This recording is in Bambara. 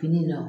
Fini nɔ